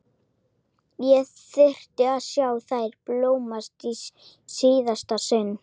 Ég þyrfti að sjá þær blómstra í síðasta sinn.